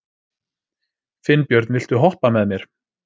Finnbjörn, viltu hoppa með mér?